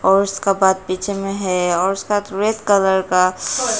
और उसका पीछे में है और उसका रेड कलर का--